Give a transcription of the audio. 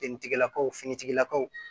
Finitigilakaw finitigilakaw